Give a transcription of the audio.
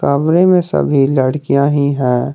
कमरे में सभी लडकियां ही हैं।